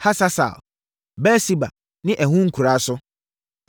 Hasar-Sual, Beer-Seba ne ɛho nkuraa so,